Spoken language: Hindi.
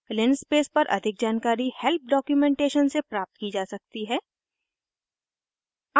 linspace पर अधिक जानकारी हेल्प डॉक्यूमेंटेशन से प्राप्त की जा सकती है